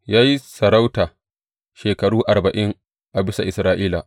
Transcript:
Ya yi sarauta shekaru arba’in a bisa Isra’ila.